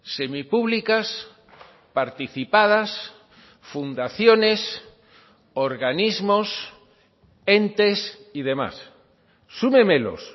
semipúblicas participadas fundaciones organismos entes y demás súmemelos